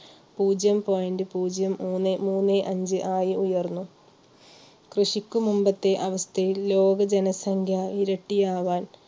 പൂജ്യം point പൂജ്യം മൂന്നെ മൂന്നെ അഞ്ച് ആയി ഉയർന്നു. കൃഷിക്കു മുമ്പത്തെ അവസ്ഥയിൽ ലോക ജനസംഖ്യ ഇരട്ടി ആവാൻ